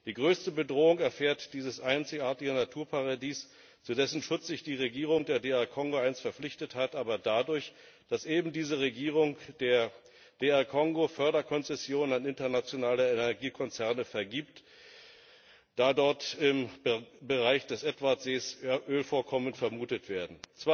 Die größte Bedrohung erfährt dieses einzigartige Naturparadies, zu dessen Schutz sich die Regierung der DR Kongo einst verpflichtet hat, aber dadurch, dass eben diese Regierung der DR Kongo Förderkonzessionen an internationale Energiekonzerne vergibt, da dort im Bereich des Edwardsees Ölvorkommen vermutet werden.